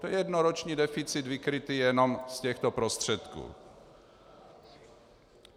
To je jednoroční deficit vykrytý jenom z těchto prostředků.